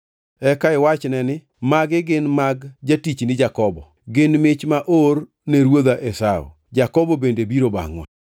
Eka iwachne ni, ‘Magi gin mag jatichni Jakobo. Gin mich ma oor ne ruodha Esau, Jakobo bende biro bangʼwa.’ ”